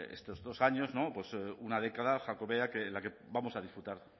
estos dos años una década jacobea que vamos a disfrutar